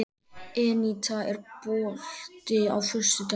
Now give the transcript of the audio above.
Eníta, er bolti á föstudaginn?